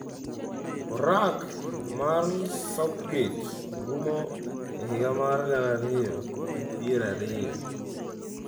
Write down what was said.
Orak mar Southgate rumo e higa mar gana ariyo gi piero ariyo.